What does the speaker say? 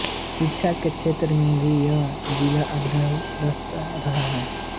शिक्षा के क्षेत्र में भी यह जिला अग्रिणी रहा हैं